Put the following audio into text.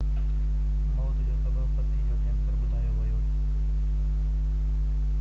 موت جو سبب پِتي جو ڪيئنسر ٻڌايو ويو